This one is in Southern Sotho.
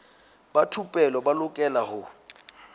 ba thupelo ba lokela ho